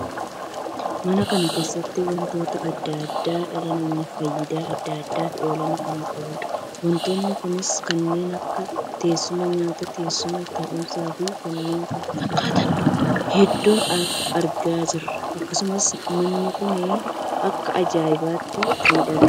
Manaa kan keessatti wantoota addaa addaa dhala namaaf faayidaa addaa addaaf oolan kan qabuudha wantoonni kunis kanneen akka teessuma nyaataa, teessuma taa'umsa fi kanneen kana fakkaatan hedduu argaa jirra. akkasumas manni kun akka ajaa'ibaatti miidhagaa!